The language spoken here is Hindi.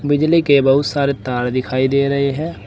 बिजली के बहुत सारे तार दिखाई दे रहे हैं।